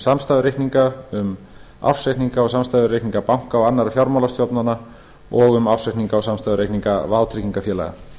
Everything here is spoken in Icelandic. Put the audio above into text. samstæðureikninga um ársreikninga og samstæðureikninga banka og annarra fjármálastofnana og um ársreikninga og samstæðureikninga vátryggingafélaga